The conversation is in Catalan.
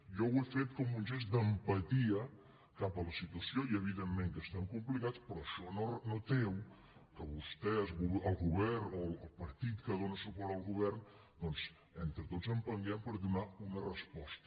jo ho he fet com un gest d’empatia cap a la situació i evidentment que estem complicats però això no treu que vostès el govern o el partit que dóna suport al govern doncs entre tots empentem per donar hi una resposta